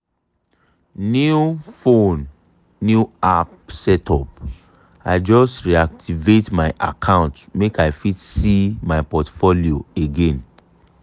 new phone new app setup i just reactivate my account make i fit see my portfolio again.